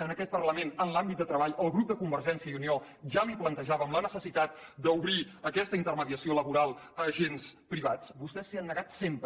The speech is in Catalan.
en aquest parlament en l’àmbit de treball el grup de convergència i unió ja li plantejàvem la necessitat d’obrir aquesta intermediació laboral a agents privats vostès s’hi han negat sempre